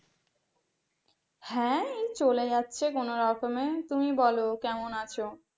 হ্যাঁ, এই চলে যাচ্ছে কোন রকমে তুমি বলো, কেমন আছো?